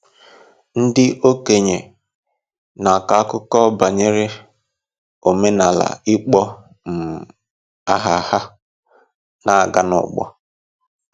Ndị okenye na-akọ akụkọ banyere omenala ịkpọ um aha ha na-aga n’ọgbọ.